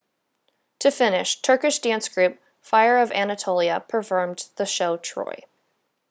to finish turkish dance group fire of anatolia performed the show troy